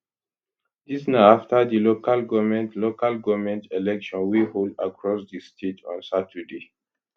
dis na afta di local goment local goment election wey hold across di state on saturday